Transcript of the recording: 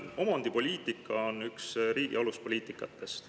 Omandipoliitika on üks riigi aluspoliitikatest.